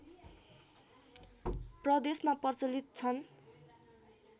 प्रदेशमा प्रचलित छन्